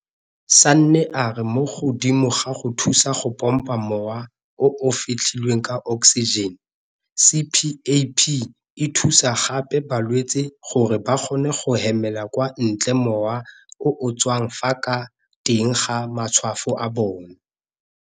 Sanne a re mo godimo ga go thusa go pompa mowa o o fetlhilweng ka oksijene, CPAP e thusa gape balwetse gore ba kgone go hemela kwa ntle mowa o o tswang ka fa teng ga matshwafo a bona.